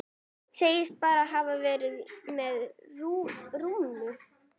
Segist bara hafa verið með Rúnu.